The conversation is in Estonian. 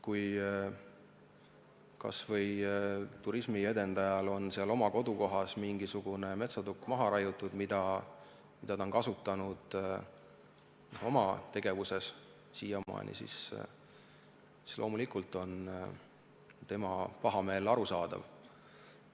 Näiteks kui turismiedendajal on kodukohas raiutud maha mingisugune metsatukk, mida ta on siiamaani oma tegevuses kasutanud, siis loomulikult on tema pahameel arusaadav.